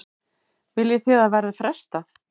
Viljið þið að verði frestað?